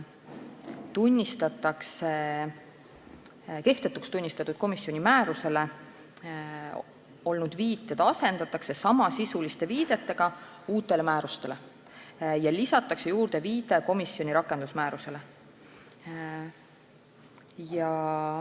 Viited kehtetuks tunnistatud komisjoni määrusele asendatakse samasisuliste viidetega uutele määrustele ja lisatakse viide komisjoni rakendusmäärusele.